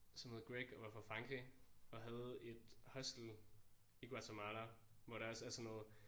Som hed Greg og var fra Frankrig og havde et hostel i Guatemala hvor der også er sådan noget